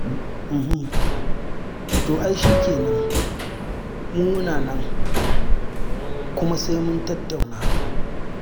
To ai shi kenan, mu muna nan, kuma sai mun tattauna.